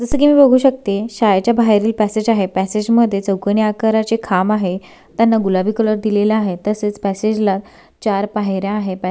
जस की मी बघू शकते शाळेच्या बाहेरील पॅसेज आहे पॅसेज मध्ये चौकोनी आकाराचे खांब आहे त्याला गुलाबी रंग दिलेला आहे तसेच पॅसेज ला चार पायऱ्या आहेत पॅ--